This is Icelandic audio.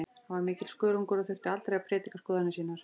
Hann var mikill skörungur og þurfti aldrei að prédika skoðanir sínar.